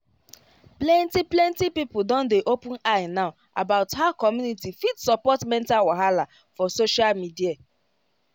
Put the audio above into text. plenty plenty people don dey open eye now about how community fit support mental wahala for social media